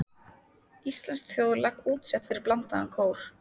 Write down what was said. Íslenskt þjóðlag útsett fyrir blandaðan kór.